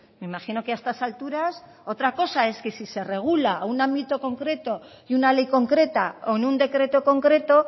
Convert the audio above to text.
me imagino que a estas alturas otra cosa es que si se regula un ámbito concreto y una ley concreta o en un decreto concreto